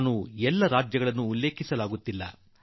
ನಾನು ಎಲ್ಲಾ ರಾಜ್ಯಗಳ ಹೆಸರನ್ನು ಹೇಳಲಾಗುತ್ತಿಲ್ಲ